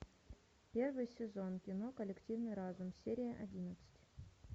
первый сезон кино коллективный разум серия одиннадцать